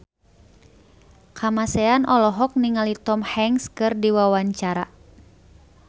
Kamasean olohok ningali Tom Hanks keur diwawancara